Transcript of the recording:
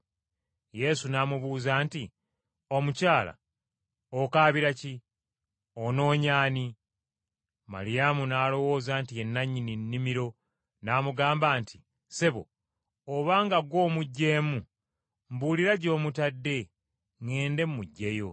Yesu n’amubuuza nti, “Omukyala okaabira ki? Onoonya ani?” Maliyamu n’alowooza nti, Ye nannyini nnimiro n’amugamba nti, “Ssebo, obanga gw’omuggyeemu, mbuulira gy’omutadde ŋŋende mmuggyeyo.”